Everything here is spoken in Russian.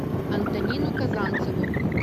антонину казанцеву